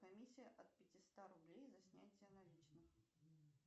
комиссия от пятиста рублей за снятие наличных